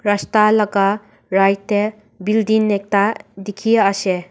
rasta laka right tae building ekta dikhiase.